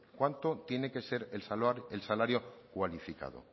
cuánto tiene que ser el salario cualificado